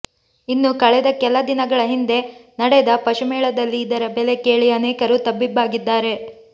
ಇನ್ನು ಕಳೆದ ಕೆಲ ದಿನಗಳ ಹಿಂದೆ ನಡೆದ ಪಶು ಮೇಳದಲ್ಲಿ ಇದರ ಬೆಲೆ ಕೇಳಿ ಅನೇಕರು ತಬ್ಬಿಬ್ಬಾಗಿದ್ದಾರೆ